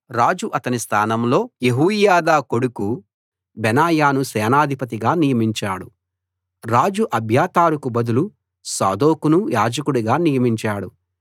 రాజు అతని స్థానంలో యెహోయాదా కొడుకు బెనాయాను సేనాధిపతిగా నియమించాడు రాజు అబ్యాతారుకు బదులు సాదోకును యాజకుడుగా నియమించాడు